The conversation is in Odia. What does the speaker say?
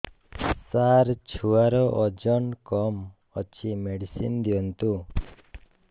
ସାର ଛୁଆର ଓଜନ କମ ଅଛି ମେଡିସିନ ଦିଅନ୍ତୁ